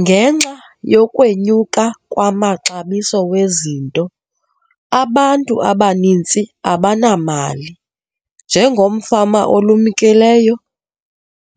Ngenxa yokwenyuka kwamaxabiso wezinto, abantu abaninzi abanamali. Njengomfama olumkileyo